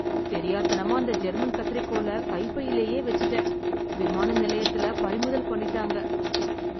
தெரியாத்தனமா அந்த ஜெர்மன் கத்திரிக்கோல கைப்பையிலேயே வெச்சிட்டேன். விமான நிலையத்துல பறிமுதல் பண்ணிட்டாங்க. ப்ச்.